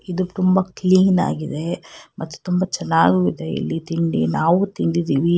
ಇದು ತುಂಬಾ ಕ್ಲೀನಾ ಗಿದೆ ಮತ್ತು ತುಂಬಾ ಚೆನ್ನಾಗು ಇದೆ ಇಲ್ಲಿ ತಿಂಡಿ ನಾವು ತಿಂದಿದೀವಿ.